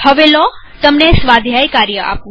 હવે લો તમને સ્વાધ્યાય કાર્ય આપું